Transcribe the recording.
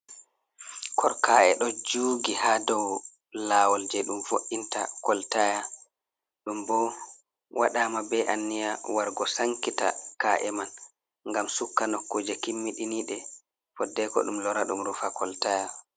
Ka’e ɗo jugi ha dou lawol je ɗum vo’inta koltaya ɗum bo waɗama be anniya waru go sankita ka’e man ngam sukka nokkuje kimmikiniɗe foddeko ɗum lora ɗum rufa koltaya.